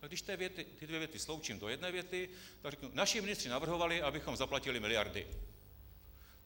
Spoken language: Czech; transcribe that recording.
Tak když obě dvě věty sloučím do jedné věty, tak řeknu: naši ministři navrhovali, abychom zaplatili miliardy.